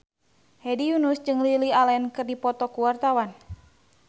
Hedi Yunus jeung Lily Allen keur dipoto ku wartawan